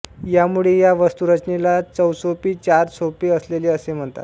यामुळे या वास्तुरचनेला चौसोपी चार सोपे असलेले असे म्हणतात